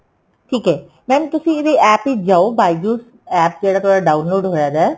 "ਠੀਕ ਏ mam ਤੁਸੀਂ ਇਹਦੀ APP ਵਿੱਚ ਜਾਉ byju""s APP ਜਿਹੜਾ ਤੁਹਾਡਾ download ਹੋਇਆ ਪਿਆ"